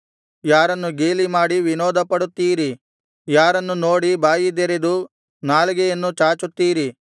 ಯಾರನ್ನು ಗೇಲಿಮಾಡಿ ವಿನೋದಪಡುತ್ತೀರಿ ಯಾರನ್ನು ನೋಡಿ ಬಾಯಿದೆರೆದು ನಾಲಿಗೆಯನ್ನು ಚಾಚುತ್ತೀರಿ